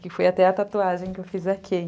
Que foi até a tatuagem que eu fiz aqui.